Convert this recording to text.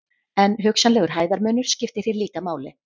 En hugsanlegur hæðarmunur skiptir hér líka máli.